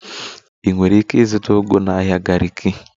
Ị nwere ike ịzụta ugu na ahịa Gariki